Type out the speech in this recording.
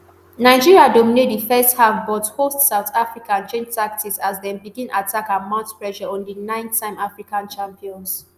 nigeria dominate di first half but hosts south africa change tactics as dem begin attack and mount pressure on di ninetime african champions